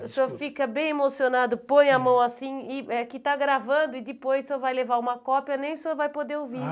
O senhor fica bem emocionado, põe a mão assim, que está gravando, e depois o senhor vai levar uma cópia, nem o senhor vai poder ouvir.